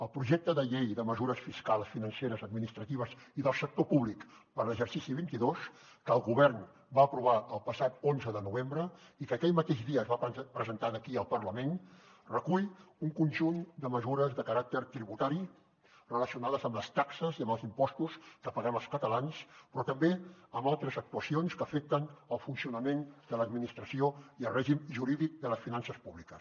el projecte de llei de mesures fiscals financeres administratives i del sector públic per a l’exercici vint dos que el govern va aprovar el passat onze de novembre i que aquell mateix dia es va presentar aquí al parlament recull un conjunt de mesures de caràcter tributari relacionades amb les taxes i amb els impostos que paguem els catalans però també amb altres actuacions que afecten el funcionament de l’administració i el règim jurídic de les finances públiques